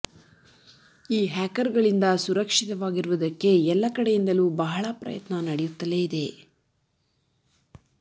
ಈ ಹ್ಯಾಕರ್ಗಳಿಂದ ಸುರಕ್ಷಿತವಾಗಿರುವುದಕ್ಕೆ ಎಲ್ಲ ಕಡೆಯಿಂದಲೂ ಬಹಳ ಪ್ರಯತ್ನ ನಡೆಯುತ್ತಲೇ ಇದೆ